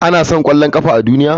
An san ƙwallon ƙafa a duniya?